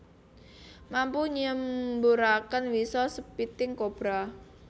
Mampu nyemburaken wisa spitting cobra